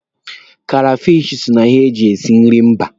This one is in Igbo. Krefishi so na ihe ndị eji esi food mba.